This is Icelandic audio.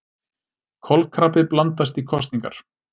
Kolkrabbi blandast í kosningar